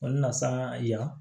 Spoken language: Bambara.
O nasana ya